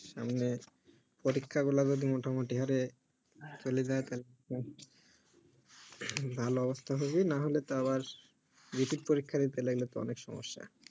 সামনে পরীক্ষা গুলো যদি মোটামোটই হারে চলে যাই তালে তো ভালো অবস্থা হবে না হলে তো আবার repeat পরীক্ষা দিতে লাগলে তো অনেক সমস্য